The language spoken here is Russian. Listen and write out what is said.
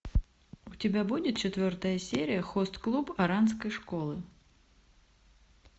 у тебя будет четвертая серия хост клуб оранской школы